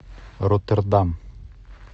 роттердам